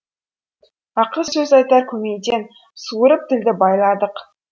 ақыл сөз айтар көмейден суырып тілді байладық